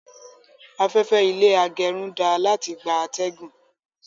Afẹ́fẹ́ ilé agẹrun dáa láti gbà atẹgun